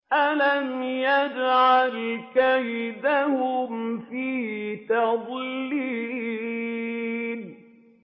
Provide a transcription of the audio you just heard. أَلَمْ يَجْعَلْ كَيْدَهُمْ فِي تَضْلِيلٍ